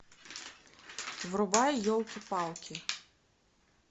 врубай елки палки